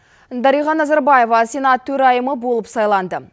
дариға назарбаева сенат төрайымы болып сайланды